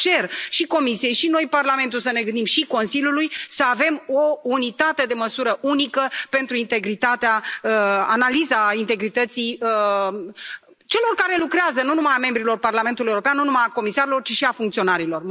De aceea cer și Comisiei și noi, Parlamentul, să ne gândim, și Consiliului, să avem o unitate de măsură unică pentru analiza integrității celor care lucrează, nu numai a membrilor Parlamentului European, nu numai a comisarilor ci și a funcționarilor.